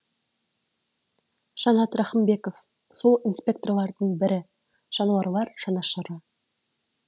жанат рахымбеков сол инспекторлардың бірі жануарлар жанашыры